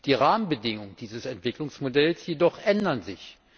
Die Rahmenbedingungen dieses Entwicklungsmodells jedoch ändern sich.